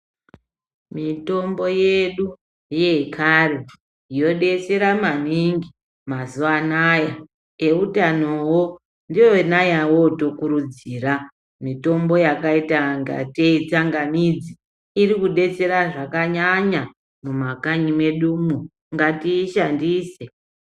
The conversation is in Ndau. Mitombo yedu yekare yodetsera maningi mazuwa anaya . Eutanowo ndiyona yovotokurudzira. Mitombo yakaita ngatei itsangamidzi irikudetsera zvakanyanya mumakanyi mwedumwo. Ngatiishandise.